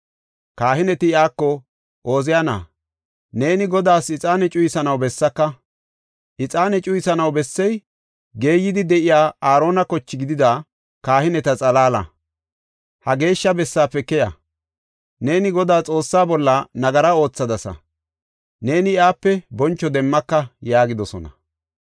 Kahineti iyako, “Ooziyana, neeni Godaas ixaane cuyisanaw bessaaka. Ixaane cuyisanaw bessey, geeyidi de7iya Aarona koche gidida kahineti xalaala. Ha geeshsha bessaafe keya! Neeni Godaa Xoossa bolla nagara oothadasa; neeni iyape boncho demmaka” yaagidosona.